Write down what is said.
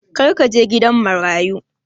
Kar ka je gidan marayu!